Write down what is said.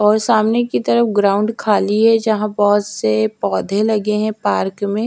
और सामने की तरफ ग्राउंड खालि है जहां बोहोत से पौधे लगे हैं पार्क में--